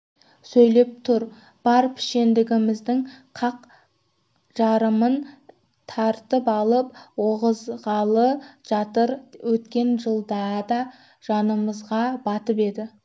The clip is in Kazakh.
сөйлеп түр бар пішендігіміздің қақ жарымын тартып алып орғызғалы жатыр өткен жылдарда да жанымызға батып еді